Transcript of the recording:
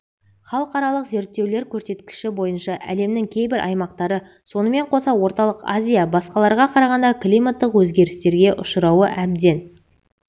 халықаралық зерттеулер көрсеткіші бойынша әлемнің кейбір аймақтары сонымен қоса орталық азия басқаларға қарағанда климаттық өзгерістерге ұшырауы әбден